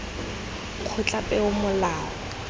kgotlapeomolao